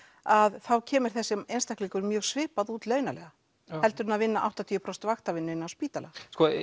að þá kemur þessi einstaklingur mjög svipað út launalega heldur en að vinna áttatíu prósent vaktavinnu inni á spítala